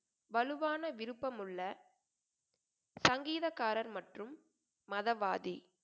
வலுவான விருப்பமுள்ள சங்கீதக்காரர் மற்றும் மதவாதி